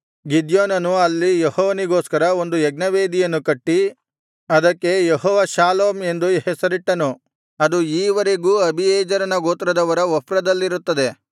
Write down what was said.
ಗಿದ್ಯೋನನು ಅಲ್ಲಿ ಯೆಹೋವನಿಗೋಸ್ಕರ ಒಂದು ಯಜ್ಞವೇದಿಯನ್ನು ಕಟ್ಟಿ ಅದಕ್ಕೆ ಯೆಹೋವ ಷಾಲೋಮ್ ಎಂದು ಹೆಸರಿಟ್ಟನು ಅದು ಈ ವರೆಗೂ ಅಬೀಯೆಜೆರನ ಗೋತ್ರದವರ ಒಫ್ರದಲ್ಲಿರುತ್ತದೆ